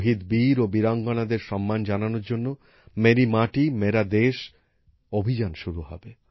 শহীদ বীর ও বীরাঙ্গনাদের সম্মান জানানোর জন্য মেরি মাটি মেরা দেশ অভিযান শুরু হবে